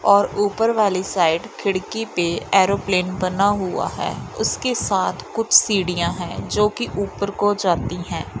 और ऊपर वाली साइड खिड़की पे एयरप्लेन बना हुआ है उसके साथ कुछ सीढ़ियां है जो कि ऊपर को जाती है।